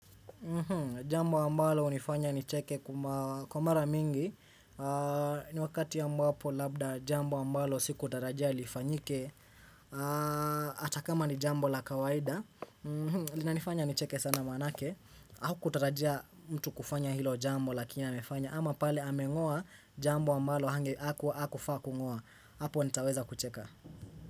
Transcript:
Jambo ambalo hunifanya nicheke kuma kwa mara mingi ni wakati ambapo labda jambo ambalo sikutarajia lifanyike Ata kama ni jambo la kawaida linanifanya nicheke sana manake haukutarajia mtu kufanya hilo jambo lakini amefanya. Ama pale ameng'oa jambo ambalo hange haku hakufaa kung'oa. Apo nitaweza kucheka.